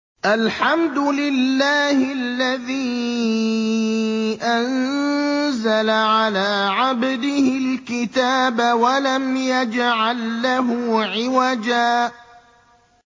الْحَمْدُ لِلَّهِ الَّذِي أَنزَلَ عَلَىٰ عَبْدِهِ الْكِتَابَ وَلَمْ يَجْعَل لَّهُ عِوَجًا ۜ